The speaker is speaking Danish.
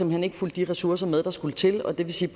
hen ikke fulgte de ressourcer med der skulle til og det vil sige